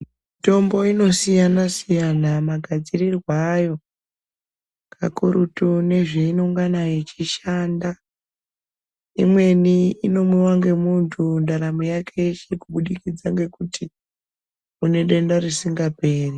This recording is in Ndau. Mitombo inosiyana-siyana magadzirirwo ayo, kakurutu nezveinongana yeishanda. Imweni inomwiwa ngemuntu, ndaramo yake yeshe, kubudikidza ngekuti unedenda risingaperi.